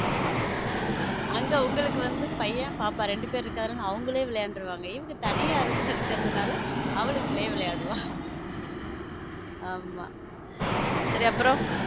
அங்க உங்களுக்கு வந்து பையன் பாப்பா ரெண்டு பேரு இருக்கறதுனால அவங்களே விளையாடறாங்க இவங்க தனியா இருக்கறதுனால அவளுக்குள்ளே விளையாடுவ ஆமா சரி அப்புறம்.